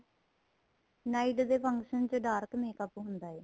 night ਦੇ function ਚ dark makeup ਹੁੰਦਾ ਏ